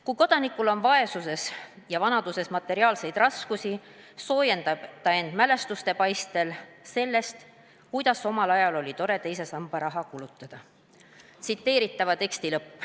Kui Kodanikul on vanaduses materiaalseid raskusi, soojendab ta end mälestuste paistel sellest, kuidas omal ajal oli tore teise samba raha kulutada.